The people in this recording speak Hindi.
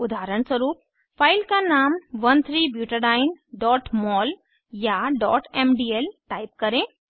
उदाहरणस्वरूप फाइल का नाम 13ब्यूटाडीन mol या mdl टाइप करें